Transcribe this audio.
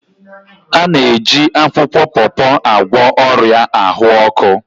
A na-eji akwukwo pawpaw agwọ ọrịa ahụ ọkụ.